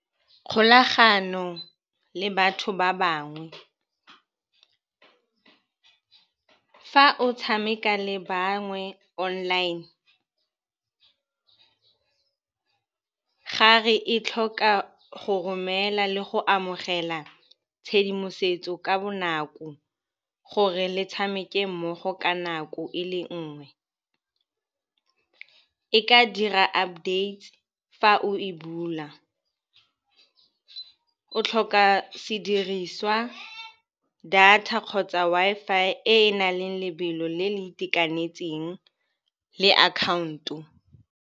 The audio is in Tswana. Kgolagano le batho ba bangwe. Fa o tshameka le bangwe online gare e tlhoka go romela le go amogela tshedimosetso ka bonako gore le tshameke mmogo ka nako e le nngwe. E ka dira updates fa o e bula. O tlhoka sediriswa, data kgotsa Wi-Fi e e nang le lebelo le le itekanetseng le akhaonto.